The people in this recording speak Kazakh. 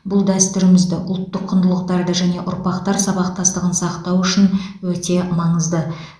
бұл дәстүрімізді ұлттық құндылықтарды және ұрпақтар сабақтастығын сақтау үшін өте маңызды